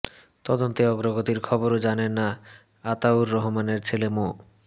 তদন্তে অগ্রগতির খবরও জানেন না আতাউর রহমানের ছেলে মো